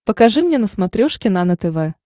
покажи мне на смотрешке нано тв